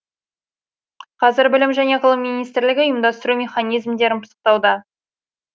қазір білім және ғылым министрлігі ұйымдастыру механизмдерін пысықтауда